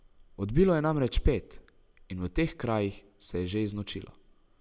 Odbilo je namreč pet in v teh krajih se je že znočilo.